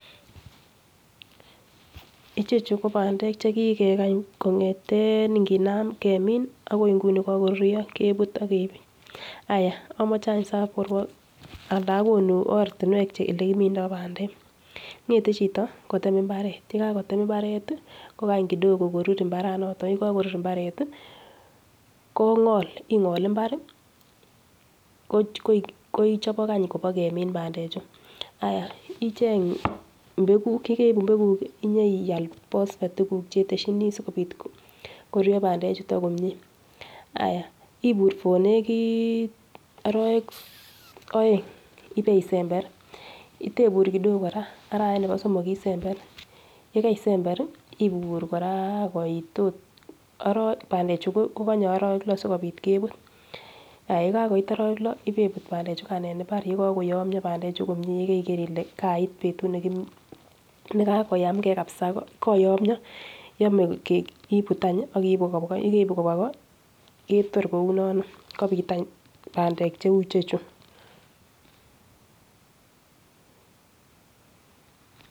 Ichechu ko bandek chekikekany kongeten ingemin akoi nguni kakorurio kebut akebir ayah amoche any saborwok alan akonu olekimindo bandek, ng'ete chito ketem mbaret yekakotem mbaret kokany kidogo korur mbaranoto, yekakorur mbaret kong'ol ing'ol mbar kochopok any kobakemin bandechu ayah icheng mbeguk yekibu mbeguk inyeiyal pospet tukuk cheteshini sikopit korurio bandechuto komie ayah ibur for nekit arawek aeng ibei sember itebur kidogo kora arawet nepo somok isember yekeisember ibur kora koit ot bandechu kekonye arawek lo sikopit kebut yekakoit arowek lo ibebut bandechukan en mbar yekokoyomio bandechu komie yekeikere ile kait betut nekakoyamke kabsa koyomio ibutany akiibu kobwa yekoibu kobwa ko ketor kounon kobit any bandek cheu ichechu.